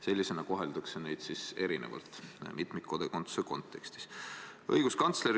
Seega koheldakse neid mitmikkodakondsuse kontekstis teistest erinevalt.